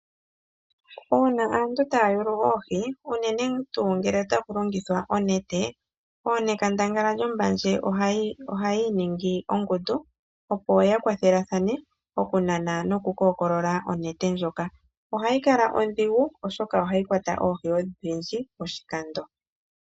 Uuna aantu taa yulu oohi, unene tuu ngele otaku longithwa onete, ooNekandangala lyOmbandje ohaya iningi ongundu, opo ya kwathelathane okunana nokukookolola onete ndjoka. Ohayi kala ondhigu, oshoka ohayi kwata oohi odhindji poshikando.